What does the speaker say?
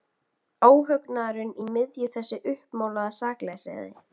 Þetta skynjaði húsmóðirin af meðfæddu næmi.